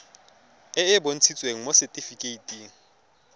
e e bontshitsweng mo setifikeiting